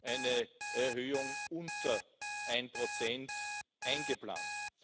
eine Erhöhung von unter einem Prozent eingeplant.